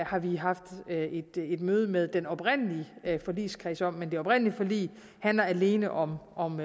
har vi haft et møde med den oprindelige forligskreds om men det oprindelige forlig handlede alene om om